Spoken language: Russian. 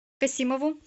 касимову